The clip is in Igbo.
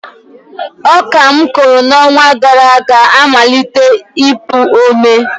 Ọka m kụrụ n’ọnwa gara aga amalitela ipụ ome